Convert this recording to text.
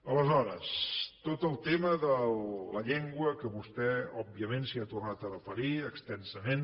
aleshores tot el tema de la llengua que vostè òbviament s’hi ha tornat a referir extensament